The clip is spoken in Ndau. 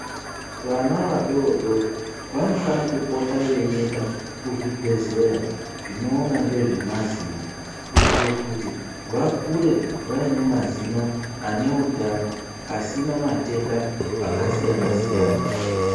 Vana vadodori vanofana kupota veienda kuzvibhedhleya zvinoona ngezvemazino. Kuitira kuti vakure vaine mazino ane utano asina matenda akasiyana-siyana.